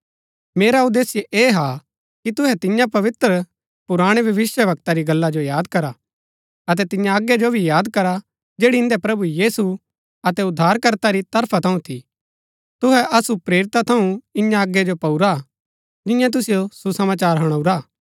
मेरा उदेश्य ऐह हा कि तुहै तियां पवित्र पुराणै भविष्‍यवक्ता री गल्ला जो याद करा अतै तिन्या आज्ञा जो भी याद करा जैड़ी इन्दै प्रभु यीशु अतै उद्धारकर्ता री तरफा थऊँ थी तुहै असु प्रेरिता थऊँ इन्या आज्ञा जो पाऊरा हा जिन्यैं तुसिओ सुसमाचार हणाऊरा हा